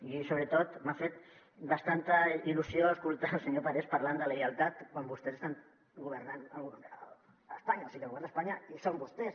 i sobretot m’ha fet bastanta il·lusió escoltar el senyor parés parlant de lleialtat quan vostès estan governant a espanya o sigui al govern d’espanya hi són vostès